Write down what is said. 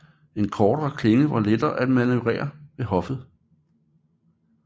En kortere klinge var lettere at manøvrere ved hoffet